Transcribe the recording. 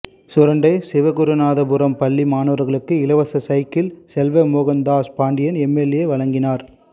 சுரண்டை சிவகுருநாதபுரம் பள்ளி மாணவர்களுக்கு இலவச சைக்கிள் செல்வ மோகன்தாஸ் பாண்டியன் எம்எல்ஏ வழங்கினார்